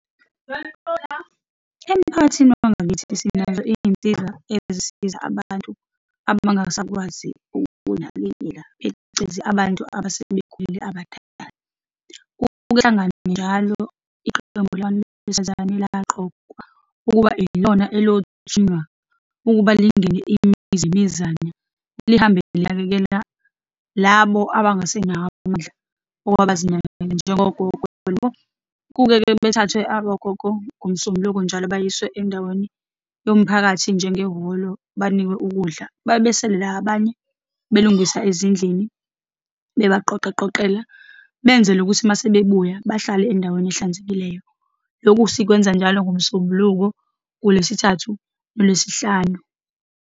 Emphakathini wangakithi sinazo izinsiza ezisiza abantu abangasakwazi ukuyinakekela, phecelezi abantu abasebekhulile, abadala. Kuhlangana njalo iqembu labantu besifazane elaqokwa ukuba yilona elothunywa ukuba lingene imizi nemizane, lihambile linakekela labo abangasenawo amandla okuba bazinakekele, njengogogo , kuke-ke bethathwe abagogo ngoMsombuloko njalo, bayiswe endaweni yomphakathi, njengehholo banikwe ukudla, babe besele la abanye belungisa ezindlini, bebaqoqaqoqela, benzele ukuthi uma sebebuya bahlale endaweni ehlanzekileyo. Lokhu sikwenza njalo ngoMsombuluko, ngoLwesithathu, ngoLwesihlanu.